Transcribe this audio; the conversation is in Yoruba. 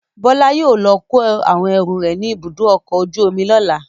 Bọ́lá yóò lọ kó àwọn ẹrù rẹ̀ ní Ibùdó-ọkọ̀ ojú-omi lọ́la.